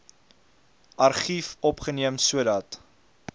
argief opgeneem sodat